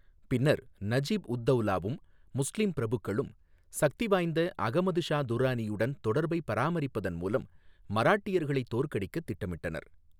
பின்னர் நஜிப் உத் தௌலாவும் முஸ்லீம் பிரபுக்களும் சக்திவாய்ந்த அகமது ஷா துர்ரானியுடன் தொடர்பைப் பராமரிப்பதன் மூலம் மராட்டியர்களைத் தோற்கடிக்கத் திட்டமிட்டனர்.